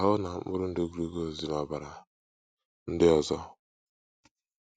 Ahụ́ na mkpụrụ ndụ glucose dị n’ọbara ndị ọzọ.